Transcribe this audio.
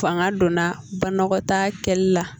Fanga donna banakɔtaa kɛli la